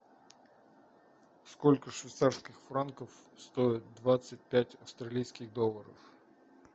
сколько швейцарских франков стоит двадцать пять австралийских долларов